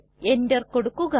enter കൊടുക്കുക